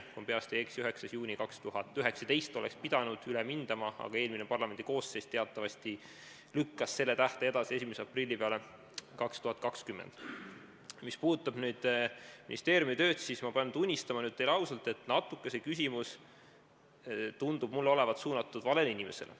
Kui ma peast öeldes ei eksi, siis 9. juunil 2019 oleks pidanud üle mindama, aga eelmine parlamendikoosseis teatavasti lükkas selle tähtaja edasi 1. aprillile 2020. Mis puudutab ministeeriumi tööd, siis ma pean tunnistama teile ausalt, et see küsimus tundub olevat suunatud natuke valele inimesele.